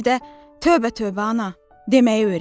Bir də tövbə tövbə ana deməyi öyrənib.